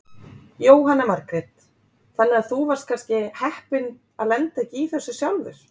Jóhanna Margrét: Þannig að þú varst kannski heppinn að lenda ekki í þessu sjálfur?